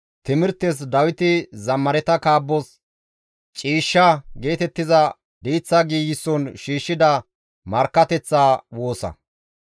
Neni biittayo qaaththada za7isadasa; iza kokkoriza gishshas neni izi za7a kunththa.